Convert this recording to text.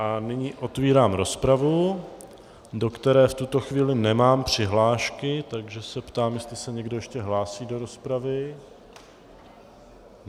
A nyní otevírám rozpravu, do které v tuto chvíli nemám přihlášky, takže se ptám, jestli se někdo ještě hlásí do rozpravy.